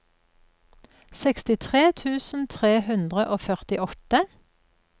sekstitre tusen tre hundre og førtiåtte